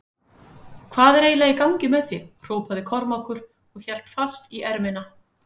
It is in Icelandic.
Hvað er eiginlega í gangi með þig hrópaði Kormákur og hélt fast í ermina.